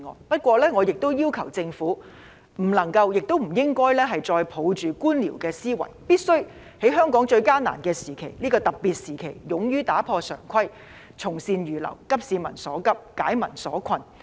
不過，我亦要求政府不能夠也不應該再抱着官僚思維，而必須在香港最艱難的時期、這個非常時期勇於打破常規，從善如流，急市民所急，紓解民困。